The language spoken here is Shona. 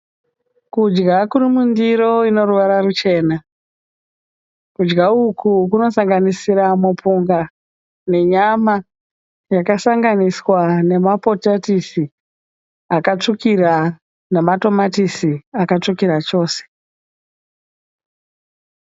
Kudya kuri mundiro ino ruvara ruchena. Kudya uku kunosanganisira mupunga nenyama yakasanganiswa nemapotatisi akatsvukira nematomatisi akatsvukira chose.